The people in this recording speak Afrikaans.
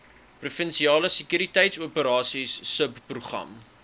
provinsiale sekuriteitsoperasies subprogram